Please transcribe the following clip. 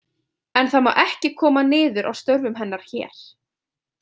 En það má ekki koma niður á störfum hennar hér.